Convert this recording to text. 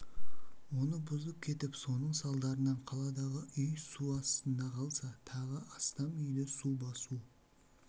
оны бұзып кетіп соның салдарынан қаладағы үй су астында қалса тағы астам үйді су басу